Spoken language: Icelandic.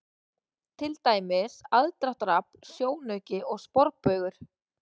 Til dæmis: aðdráttarafl, sjónauki og sporbaugur.